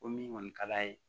Ko min kɔni ka d'a ye